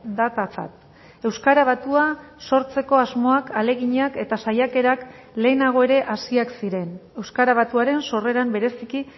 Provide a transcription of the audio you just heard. datatzat euskara batua sortzeko asmoak ahaleginak eta saiakerak lehenago ere hasiak ziren euskara batuaren sorreran bereziki